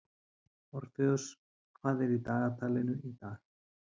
Orfeus, hvað er í dagatalinu í dag?